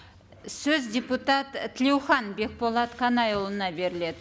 сөз депутат і тлеухан бекболат қанайұлына беріледі